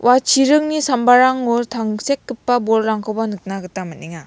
ua chiringni sambarango tangsekgipa bolrangkoba nikna gita man·enga.